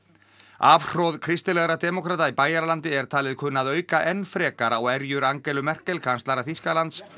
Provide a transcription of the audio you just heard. afhroð kristilegra demókrata í Bæjaralandi er talið kunna að auka enn frekar á erjur Angelu Merkel kanslara Þýskalands